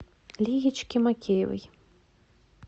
лиечки мокеевой